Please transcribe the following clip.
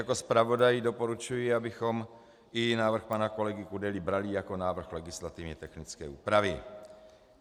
Jako zpravodaj doporučuji, abychom i návrh pana kolegy Kudely brali jako návrh legislativně technické úpravy.